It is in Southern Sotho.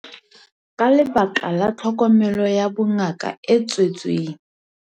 Ka lebaka la tlhokomelo ya bongaka e tswetseng.